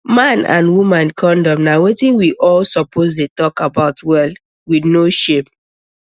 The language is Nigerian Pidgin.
man and woman condom na wetin we all suppose dey talk about well with no shame